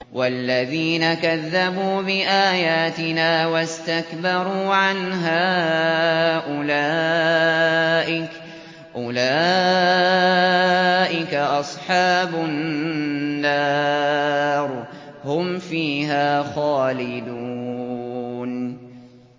وَالَّذِينَ كَذَّبُوا بِآيَاتِنَا وَاسْتَكْبَرُوا عَنْهَا أُولَٰئِكَ أَصْحَابُ النَّارِ ۖ هُمْ فِيهَا خَالِدُونَ